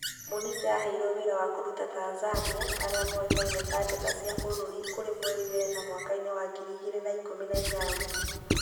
Mũnike aheirwo wĩra wa kũruta Tanzania aria moĩkaine ta Njata cia Bururi kũrĩ mweri wena mwakainĩ wa ngiri igĩrĩ na ikûmi na inyanya.